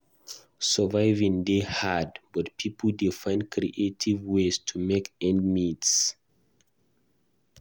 Surviving dey hard, but pipo dey find creative ways to make ends meet.